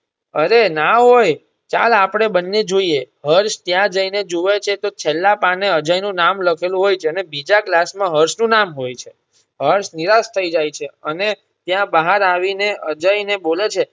અરે ના હોય ચાલ આપણે બંને જોઇયે હર્ષ ત્યાં જઈ ને જુવે છે તો છેલ્લા પાને અજય નું નામે લખેલું હોય જેને બીજા class માં હર્ષ નું નામ હોય છે હર્ષ નિરાશ થઇ જાય છે અને ત્યાં બહાર આવી ને અજય ને બોલે છે.